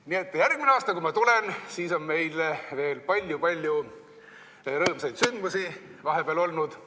Nii et järgmisel aastal, kui ma tulen, siis on meil veel palju-palju rõõmsaid sündmusi vahepeal olnud.